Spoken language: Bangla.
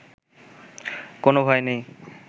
কোনো ভয় নেই